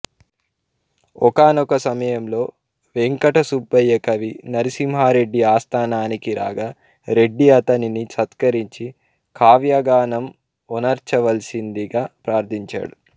ఒకానొక సమయంలో వేంకటసుబ్బయ్య కవి నరసింహారెడ్డి ఆస్థానానికి రాగా రెడ్డి అతనిని సత్కరించి కావ్యగానం ఒనర్చవలసిందిగా ప్రార్ధించాడు